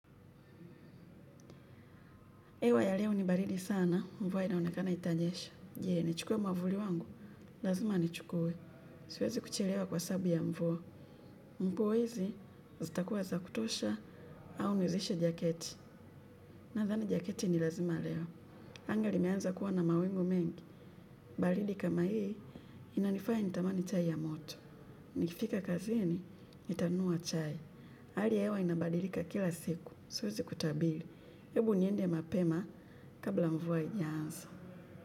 Hewa ya leo ni baridi sana, mvua inaonekana itanyesha. Je, nichukue mwavuli wangu, lazima nichukue. Siwezi kuchelewa kwa sababu ya mvua. Nguo hizi zitakuwa za kutosha, au nizishe jaketi. Nadhani jaketi ni lazima leo. Anga limeanza kuwa na mawingu mengi. Baridi kama hii, inanifaya nitamani chai ya moto. Nikifika kazini, nitanunua chai. Hali ya hewa inabadilika kila siku, siwezi kutabiri. Ebu niende mapema kabla mvua haijaanza.